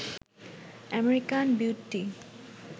American beauty